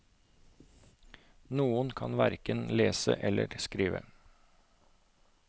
Noen kan hverken lese eller skrive.